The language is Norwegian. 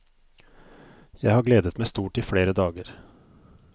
Jeg har gledet meg stort i flere dager.